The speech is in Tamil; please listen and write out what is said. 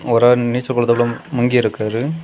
ஒரு ஆள் நீச்சகுளதுக்குள்ள மூங்கி இருக்காரு.